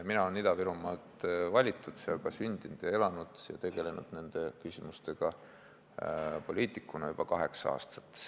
Mina olen Ida-Virumaalt valitud, olen seal ka sündinud ja elanud ning olen tegelenud nende küsimustega poliitikuna juba kaheksa aastat.